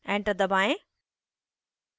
enter दबाएं